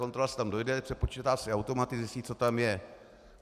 Kontrola si tam dojde, přepočítá si automaty, zjistí, co tam je.